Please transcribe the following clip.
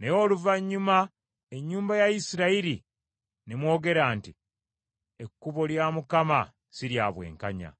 Naye oluvannyuma ennyumba ya Isirayiri ne mwogera nti, ‘Ekkubo lya Mukama si lya bwenkanya.’